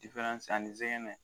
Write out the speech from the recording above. diferansi ani zɛgɛnɛ